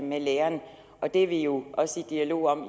med læreren og det er vi jo også i dialog om